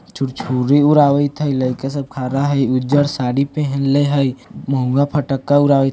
छुरछुरी हूरावइ थई लेकिन सब खड़ा हई उज्जर साड़ी पहेनले हई मोंगा फटक्का उड़ा --